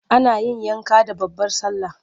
Ana yin yanka da babbar sallah.